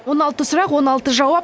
он алты сұрақ он алты жауап